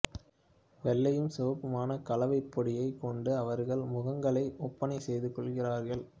வெள்ளையும் சிவப்புமான கலவைப்பொடியைக் கொண்டு அவர்கள் முகங்களை ஒப்பனை செய்துகொள்கிறார்கள்